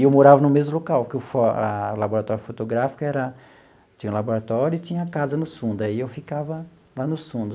E eu morava no mesmo local, porque o fo a o laboratório fotográfico era tinha laboratório e tinha casa nos fundo, aí eu ficava lá nos fundo.